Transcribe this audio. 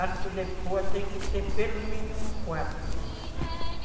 Arco de pôa tem que ter pelo mínimo quatro.